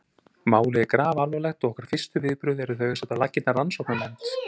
Málið er grafalvarlegt og okkar fyrstu viðbrögð eru þau að setja á laggirnar rannsóknarnefnd.